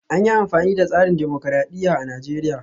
An yi amfani da tsarin dimokuradiyya a Najeriya